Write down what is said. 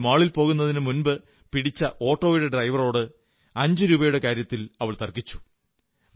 എന്നാൽ മാളിൽപോകുന്നതിന് പിടിച്ച ഓട്ടോയുടെ ഡ്രൈവറോട് അഞ്ചുരൂപയുടെ കാര്യത്തിൽ തർക്കിച്ചു